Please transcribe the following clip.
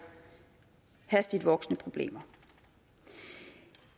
hastigt voksende problemer